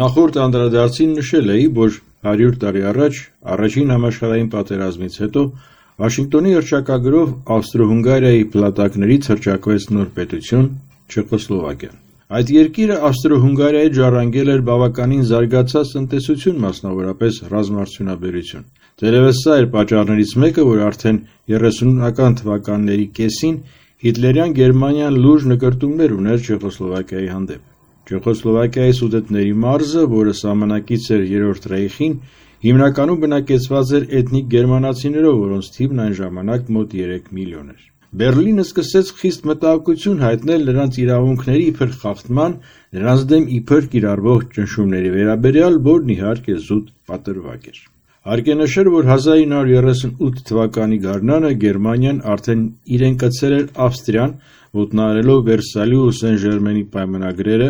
Նախորդ անդրադարձին նշել էի, որ 100 տարի առաջ՝ Առաջին համաշխարհային պատերազմից հետո, Վաշինգտոնի հռչակագրով Ավստրո-Հունգարիայի փլատակներից հռչակվեց նոր պետություն ՝ Չեխոսլովակիան: Այդ երիկիրը Ավստրո-Հունգարիայից ժառանգել էր բավականին զարգացած տնտեսություն, մասնավորապես ՝ ռազմարդյունաբերություն: Թերևս, սա էր պատճառներից մեկը, որ արդեն 30-ական թվականների կեսին հիտլերյան Գերմանիան լուրջ նկրտումներ ուներ Չեխոսլովակիայի նկատմամբ: Չեխոսլովակիայի Սուդետների մարզը, որ սահմանակից էր Երրորդ ռեյխին, հիմնականում բնակեցված էր էթնիկ գերմանացիներով, որոնց թիվն այն ժամանակ մոտ 3 միլիոն էր: Բեռլինն սկսեց խիստ մտահոգություն հայտնել նրանց իրավունքների իբր խախտման, նրանց դեմ իբր կիրառվող ճնշումների վերաբերյալ, որն իհարկե զուտ պատրվակ էր: Հարկ է նշել, որ 1938 թվականի գարնանը Գերմանիան արդեն իրեն կցել էր Ավստրիան՝ ոտնահարելով Վերսալի ու Սեն Ժերմենի պայմանագրերը,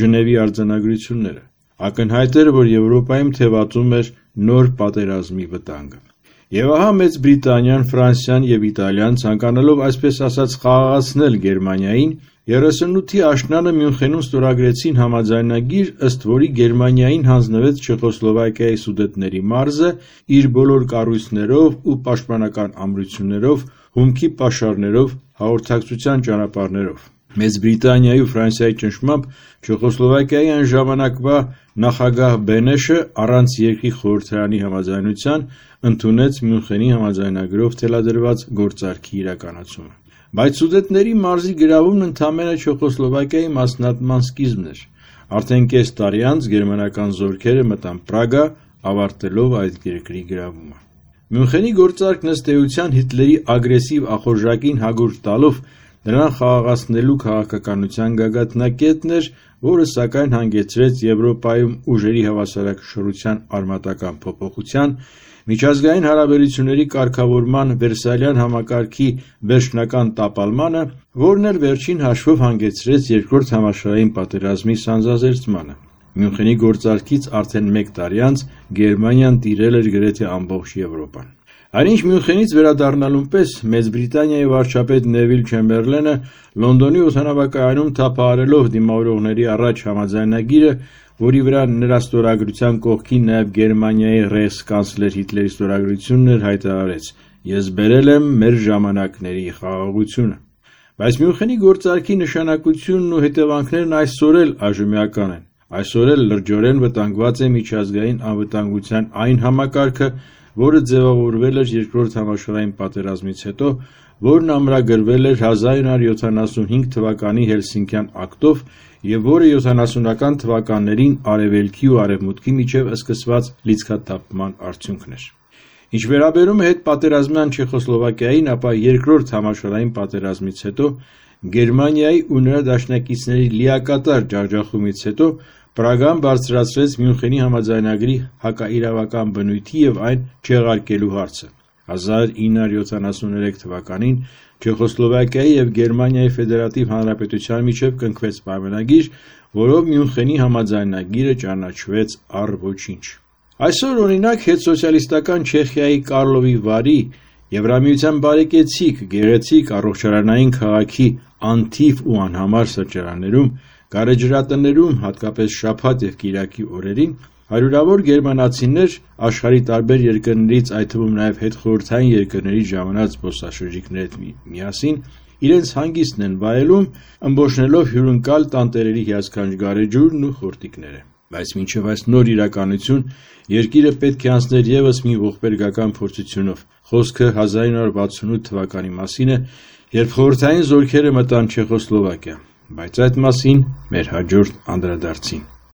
Ժնևի արձանագրությունները: Ակնհայտ էր, որ Եվրոպայում թևածում էր նոր պատերազմի վտանգը: Եվ ահա, Մեծ Բրիտանիան, Ֆրանսիան և Իտալիան ցանկանալով, այսպես ասած, խաղաղացնել Գերմանիային, 38-ի աշնանը Մյունխենում ստորագրեցին համաձայնագիր, ըստ որի Գերմանիային հանձնվեց Չեխոսլովակիայի Սուդետների մարզը՝ իր բոլոր կառույցներով ու պաշտպանական ամրություններով, հումքի պաշարներով, հաղորդակցության ճանապարհներով: Մեծ Բրիտանիայի ու Ֆրանսիայի ճնշմամբ՝ Չեխոսլովակիայի այն ժամանակվա նախագահ Բենեշը, առանց երկրի խորհրդարանի համաձայնության, ընդունեց Մյունխենի համաձայնագրով թելադրված գործարքի պայմանները: Բայց Սուդետների մարզի գրավումն ընդամենը Չեխոսլովակիայի մասնատման սկիզբն էր: Արդեն կես տարի անց գերմանական զորքերը մտան Պրագա՝ ավարտելով այդ երկրի գրավումը: Մյունխենի գործարքն, ըստ էության, Հիտլերի ագրեսիվ ախորժակին հագուրդ տալով, նրան խաղաղեցնելու քաղաքականության գագաթնակետն էր, որը, սակայն, հանգեցրեց Եվրոպայում ուժերի հավասարակշռության արմատական փոփոխության, միջազգային հարաբերությունների կարգավորման Վերսալյան համակարգի վերջնական տապալմանը, որն էլ, վերջին հաշվով, հանգեցրեց 2-դ համաշխարհային պատերազմի սանձազերծմանը: Մյունխենի գործարքից արդեն մեկ տարի անց Գերմանիան տիրել էր գրեթե ամբողջ Եվրոպան: Այնինչ, Մյունխենից վերադառնալուն պես Մեծ Բրիտանիայի վարչապետ Նևիլ Չեմբերլենը Լոնդոնի օդանավակայանում, թափահարելով դիմավորողների առաջ համաձայնագիրը, որի վրա նրա ստորագրության կողքին նաև Գերմանիայի ռեյխսկանցլեր Հիտլերի ստորագրությունն էր, հայտարարեց. «Ես բերել եմ մեր ժամանակների խաղաղությունը»: Բայց Մյունխենի գործարքի նշանակությունն ու հետևանքներն այսօր էլ այժմեական են, այսօր էլ լրջորեն վտանգված է միջազգային անվտանգության այն համակարգը, որը ձևավորվել էր 2-րդ համաշխարհային պատերազմից հետո, որն ամրագրվել էր 1975 թվականի Հելսինկյան ակտով, և որը 70-ական թվականներին Արևելքի ու Արևմուտքի միջև սկսված լիցքաթափման արդյունքն էր: Ինչ վերաբերում է հետպատերազմյան Չեխոսլովակիային, ապա 2-րդ համաշխարհային պատերազմից՝ Գերմանիայի ու նրա դաշնակիցների լիակատար ջախջախումից հետո, Պրագան բարձրացրեց Մյունխենի համաձայնագրի հակաիրավական բնույթի ու այն չեղարկելու հարցը: 1973 թվականին Չեխոսլովակիայի ու ԳՖՀ-ի միջև կնքվեց պայմանագիր, որով Մյունխենի համաձայնագիրը ճանաչվեց առ ոչինչ: Այսօր, օրինակ, հետսոցիալիստական Չեխիայի Կարլովի Վարի՝ Եվրամիության բարեկեցիկ, գեղեցիկ առողջարանային քաղաքի անթիվ ու անհամար սրճարաններում, գարեջրատներում, հատկապես շաբաթ և կիրակի օրերին, հարյուրավոր գերմանացիներ աշխարհի տարբեր երկրներից՝ այդ թվում նաև հետխորհրդային երկրներից ժամանած զբոսաշրջիկների հետ իրենց հանգիստն են վայելում՝ ըմբոշխնելով հյուրընկալ տանտերերի հիասքանչ գարեջուրն ու խորտիկները: Բայց մինչև այս նոր իրականությունը, երկիրը պետք է անցներ ևս մի ողբերգական փորձությունով: Խոսքը 1968 թվականի մայիսի մասին է, երբ խորհրդային զորքերը մտան Չեխոսլովակիա: Բայց դրա մասին՝ մեր հաջորդ անդրադարձին: